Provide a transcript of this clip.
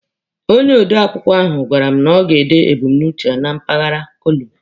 Onye ode akụkọ ahụ gwara m na ọ ga-ede ebumnuche ya na mpaghara kolumu.